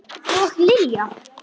Og Lilja!